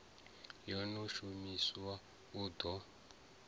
yo no shumiwa hu ḓo